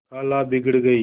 खाला बिगड़ गयीं